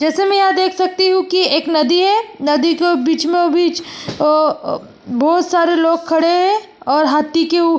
जैसे की मैं यहाँ देख सकती हु एक नदी है नदी को बीचो मो बीच अम बहुत सारे लोग खड़े है और हाथी के --